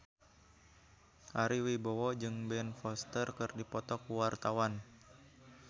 Ari Wibowo jeung Ben Foster keur dipoto ku wartawan